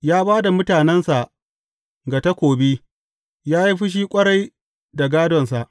Ya ba da mutanensa ga takobi; ya yi fushi ƙwarai da gādonsa.